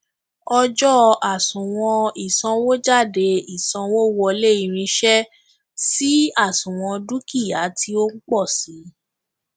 ọjọ àsuwon ìsanwójádé ìsanwówọlé irinṣẹ sì àsuwon dúkìá tí ó ń pọ sii